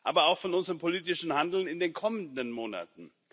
aber auch von unserem politischen Handeln in den kommenden Monaten.